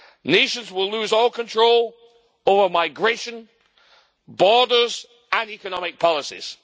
Nations will lose all control over migration, borders and economic policies.